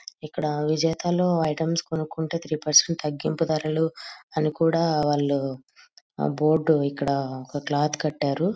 ఇక్కడ విజేత లో ఐటమ్స్ కొనుక్కుంటే త్రీ పెర్సెంట్ తగ్గింపు ధరలు అని కూడా వాళ్ళు బోర్డు ఇక్కడ ఒక క్లాత్ కట్టారు.